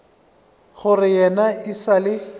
gore yena e sa le